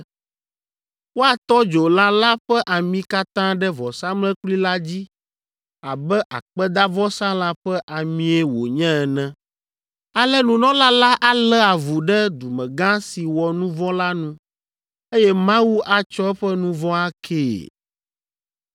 Woatɔ dzo lã la ƒe ami katã ɖe vɔsamlekpui la dzi abe akpedavɔsalã ƒe amie wònye ene. Ale nunɔla la alé avu ɖe dumegã si wɔ nu vɔ̃ la nu, eye Mawu atsɔ eƒe nu vɔ̃ akee.